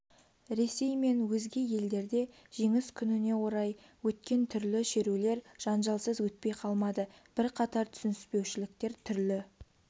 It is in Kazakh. ресей мен өзге елдерде жеңіс күніне орай өткен түрлі шерулер жанжалсыз өтпей қалмады бірқатар түсініспеушіліктер түрлі